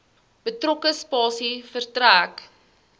betrokke spasie verstrek